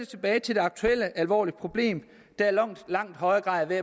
tilbage til det aktuelle alvorlige problem der i langt højere grad er